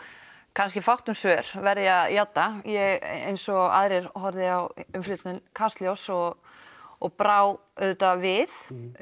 kannski fátt um svör verð ég að játa ég eins og aðrir horfði á umfjöllun Kastljós og og brá auðvitað við